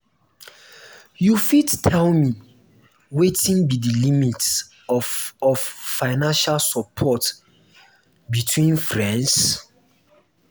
you fit tell me wetin be di limit of of financial support between friends?